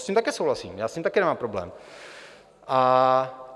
S tím také souhlasím, já s tím také nemám problém.